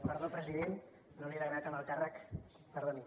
perdó president no l’he degradat en el càrrec perdoni